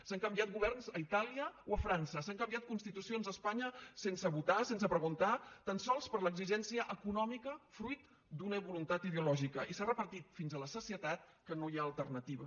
s’han canviat governs a itàlia o a frança s’han canviat constitucions a espanya sense votar sense preguntar tan sols per l’exigència econòmica fruit d’una voluntat ideològica i s’ha repetit fins a la sacietat que no hi ha alternativa